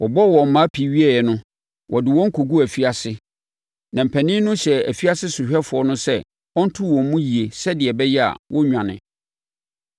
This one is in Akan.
Wɔbɔɔ wɔn mmaa pii wieeɛ no, wɔde wɔn kɔguu afiase, na mpanin no hyɛɛ afiase sohwɛfoɔ no sɛ ɔnto wɔn mu yie sɛdeɛ ɛbɛyɛ a, wɔrennwane.